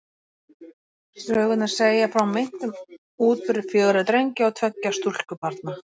Sögurnar segja frá meintum útburði fjögurra drengja og tveggja stúlkubarna.